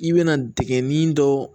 I bɛna dingɛnni dɔ